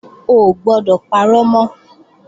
O ò gbọdọ̀ parọ́ mọ́!